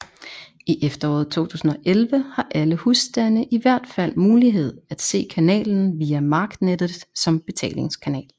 I efteråret 2011 har alle husstande i hvert fald mulighed at se kanalen via marknettet som betalingskanal